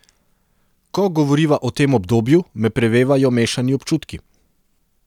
Ko govoriva o tem obdobju, me prevevajo mešani občutki.